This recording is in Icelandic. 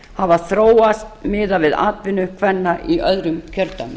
hafa þróast miðað við atvinnu kvenna í öðrum kjördæmum